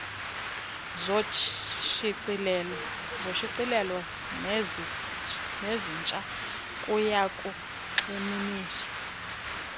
zoshicilelo nezintsha kuyakugxininiswa